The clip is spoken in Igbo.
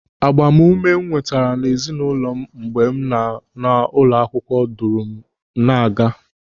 Agbamume m nwetara n'ezinụlọ m mgbe m nọ n'ụlọ akwụkwọ duru m na-aga.